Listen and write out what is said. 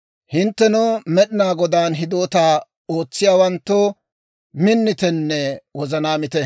Hinttenoo, Med'inaa Godaan hidootaa ootsiyaawanttoo, minnitenne wozanaamite.